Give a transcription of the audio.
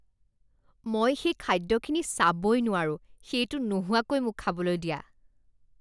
মই সেই খাদ্যখিনি চাবই নোৱাৰোঁ, সেইটো নোহোৱাকৈ মোক খাবলৈ দিয়া।